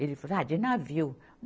Ele falou, ah, de navio.